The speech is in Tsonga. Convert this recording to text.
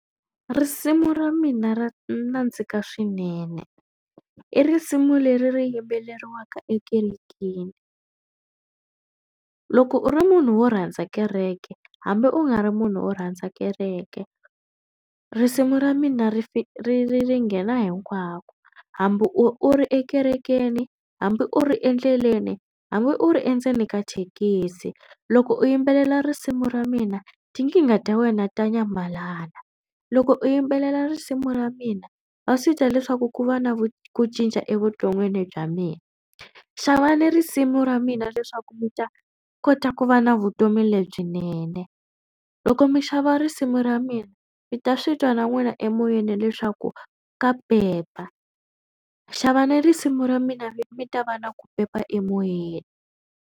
Risimu ra mina ra nandzika swinene. I risimu leri ri yimbeleriwaka ekerekeni. Loko u ri munhu wo rhandza kereke hambi u nga ri munhu wo rhandza kereke risimu ra mina ri ri ri nghena hinkwako hambi u u ri ekerekeni, hambi u ri endleleni, hambi u ri endzeni ka thekisi loko u yimbelela risimu ra mina tinkingha ta wena ta nyamalala. Loko u yimbelela risimu ra mina wa swi twa leswaku ku va na vu ku cinca evuton'wini bya mina. Xavani risimu ra mina leswaku mi ta kota ku va na vutomi lebyinene. Loko mi xava risimu ra mina mi ta swi twa na n'wina emoyeni leswaku ka pepa. Xavana risimu ra mina mi mi ta va na ku pepa emoyeni.